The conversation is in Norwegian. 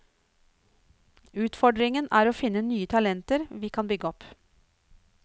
Utfordringen er å finne nye talenter vi kan bygge opp.